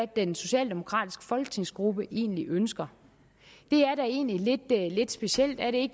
den socialdemokratiske folketingsgruppe egentlig ønsker det er da egentlig lidt specielt er det